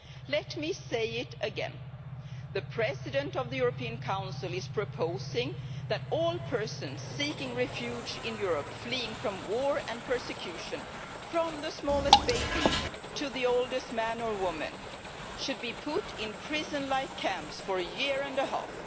Let me say it again the President of the European Council is proposing that all persons seeking refuge in Europe, fleeing war and persecution, from the smallest baby to the oldest man or woman, should be put in prison like camps for a year and a half.